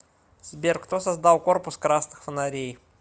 сбер кто создал корпус красных фонарей